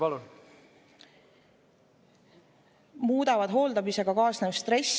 Palun!